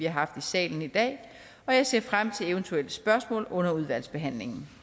haft i salen i dag og jeg ser frem til eventuelle spørgsmål under udvalgsbehandlingen